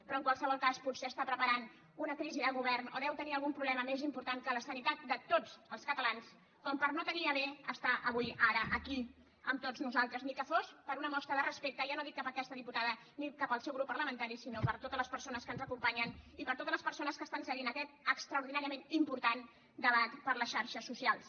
però en qualsevol cas potser prepara una crisi de govern o deu tenir algun problema més important que la sanitat de tots els catalans com per no dignar se a estar avui ara aquí amb tots nosaltres ni que fos per una mostra de respecte ja no dic cap a aquesta diputada ni cap al seu grup parlamentari sinó per totes les persones que ens acompanyen i per totes les persones que segueixen aquest extraordinàriament important debat per les xarxes socials